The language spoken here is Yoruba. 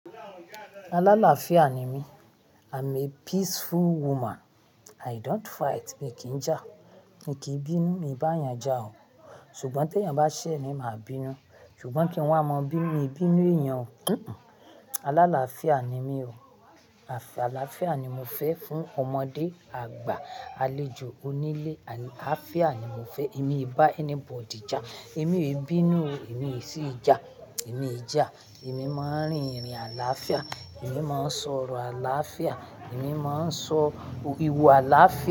Aláláfiá ni mí. I'm a peaceful woman. I don't fight. Mi kì í jà. Mi kì í bínú. Èmi bá èèyàn jà o. Ṣùgbọ́n tí èèyàn bá ṣẹ̀ ni màá bínú. Ṣùgbọ́n kí wa maá mabinu, mí bínú èèyàn o. Kankan. Aláláfiá ni mí o. Àlàáfíà ni mo fẹ́ fún ọmọdé, àgbà, àlejò, onílé. Àáfíà ni mo fẹ́. Èmi ì bá anybody jà. Èmi ò bínú o. Èmi i sí jà. Èmi ò jà. Èmi máa ń rin ìrìn àlàáfíà. Èmi máa ń sọ̀rọ̀ àlàáfíà. Èmi máa ń sọ ìwà àlàáfíà.